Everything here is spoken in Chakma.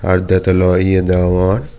r dettol o ye degongor.